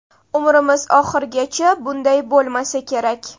Umrimiz oxirigacha bunday bo‘lmasa kerak.